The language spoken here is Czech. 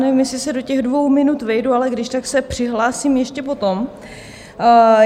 Nevím, jestli se do těch dvou minut vejdu, ale když tak se přihlásím ještě potom.